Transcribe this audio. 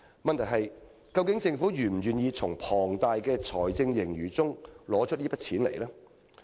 問題是，究竟政府是否願意從龐大的財政盈餘中撥出這筆款項？